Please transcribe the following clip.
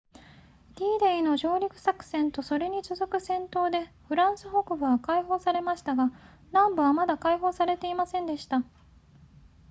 d デイの上陸作戦とそれに続く戦闘でフランス北部は解放されましたが南部はまだ解放されていませんでした